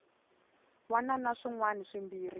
wana na swin wana swimbirhi